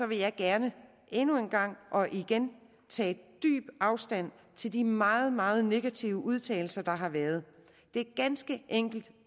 vil jeg gerne endnu en gang og igen tage dyb afstand til de meget meget negative udtalelser der har været det er ganske enkelt